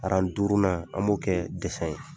Aran duurunan an b'o kɛ ye.